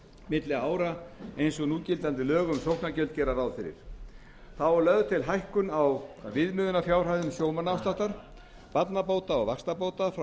milli ára eins og núgildandi lög um sóknargjöld gera ráð fyrir þá er lögð til hækkun á viðmiðunarfjárhæðum sjómannaafsláttar barnabóta og vaxtabóta frá